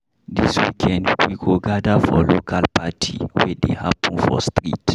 Dis weekend, we go gather for local party wey dey happen for street.